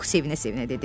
Pux sevinə-sevinə dedi.